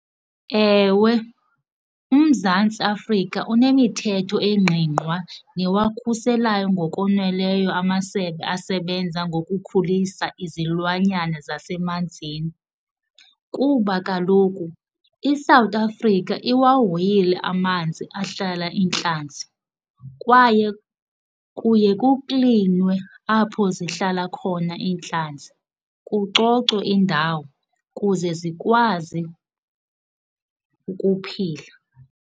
Ewe uMzantsi Afrika unemithetho engqingqwa newakhuselayo ngokoneleyo amasebe asebenza ngokukhulisa izilwanyana zasemanzini. Kuba kaloku iSouth Africa iwawhoyile amanzi ahlala iintlanzi kwaye kuye kuklinwe apho zihlala khona iintlanzi kucocwe indawo kuze zikwazi ukuphila.